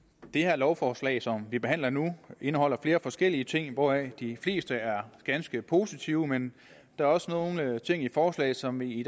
det her lovforslag som vi behandler nu indeholder flere forskellige ting hvoraf de fleste er ganske positive men der er også nogle ting i forslaget som vi i